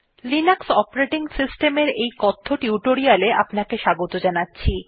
Linux operating সিস্টেমের এই কথ্য টিউটোরিয়ালে আপনাকে স্বাগত জানাচ্ছি